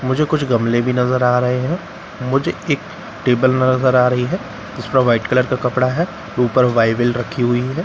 मुझे कुछ गमले भी नजर आ रहे हैं मुझे एक टेबल नजर आ रही है जिस पर व्हाइट कलर का कपड़ा है ऊपर बाइबल रखी हुई है।